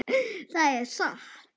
Það er satt!